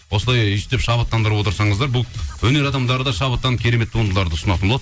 осындай өйстіп шабыттандырып отырсаңыздар бұл өнер адамдары да шабыттанып керемет туындыларды ұсынатын болады